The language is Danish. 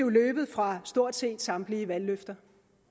er løbet fra stort set samtlige valgløfter